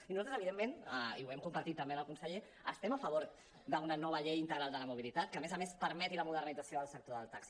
i nosaltres evidentment i ho hem compartit també amb el conseller estem a favor d’una nova llei integral de la mobilitat que a més a més permeti la modernització del sector del taxi